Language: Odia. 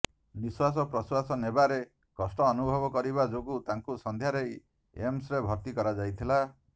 ନିଶ୍ୱାସ ପ୍ରଶ୍ୱାସ ନେବାରେ କଷ୍ଟ ଅନୁଭବ କରିବା ଯୋଗୁ ତାଙ୍କୁ ସନ୍ଧ୍ୟାରେ ଏମସ୍ ରେ ଭର୍ତ୍ତି କରାଯାଇଥିଲା